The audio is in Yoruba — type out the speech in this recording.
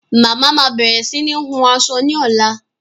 Mama máa bẹ̀rẹ̀ sini hun aṣọ ni ọ̀la